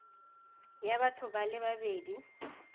ya batho ba le babedi